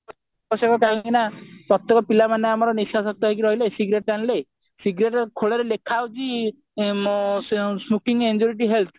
ପ୍ରତେକ ପିଲାମାନେ ଆମର ନିଶାଶକ୍ତ ହେଇକି ରହିଲେ cigarette ଟାଣିଲେ cigarette ଖୋଳରେ ଲେଖା ହଉଛି smoking is injurious to health